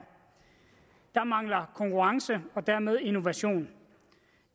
der mangler konkurrence og dermed innovation